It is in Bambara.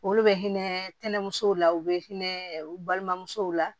Olu bɛ hinɛ tɛnɛmuso la u bɛ hinɛ u balimamusow la